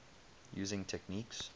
using techniques